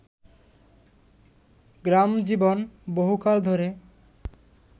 গ্রামজীবন বহুকাল ধরে